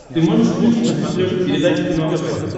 ты можешь включить на смотрешке передачу кино тв